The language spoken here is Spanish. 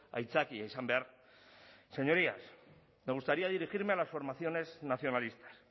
aitzakia izan behar señorías me gustaría dirigirme a las formaciones nacionalistas